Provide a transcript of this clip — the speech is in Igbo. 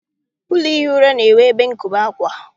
Ụlọ ihi ura na-enwe ebe nkobe akwa.